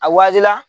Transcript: A wajibiya